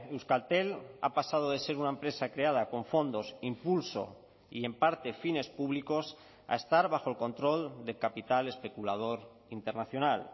euskaltel ha pasado de ser una empresa creada con fondos impulso y en parte fines públicos a estar bajo el control de capital especulador internacional